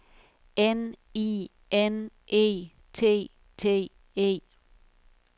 N I N E T T E